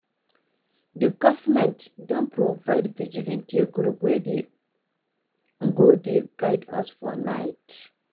The government don provide vigilante group wey go dey guide us for night